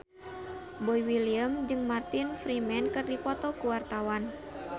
Boy William jeung Martin Freeman keur dipoto ku wartawan